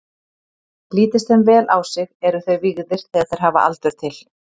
Lítist þeim vel á sig, eru þeir vígðir þegar þeir hafa aldur til.